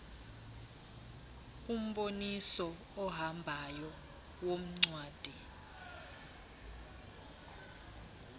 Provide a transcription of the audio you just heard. umboniso ohambayo woncwadi